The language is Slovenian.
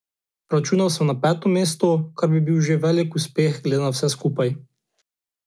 Računal sem na peto mesto, kar bi bil že velik uspeh glede na vse skupaj.